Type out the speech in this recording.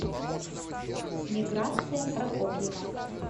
миграция прокопьева